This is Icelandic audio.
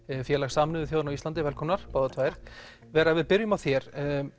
Sameinuðu þjóðanna á Íslandi velkomnar báðar tvær vera við byrjum á þér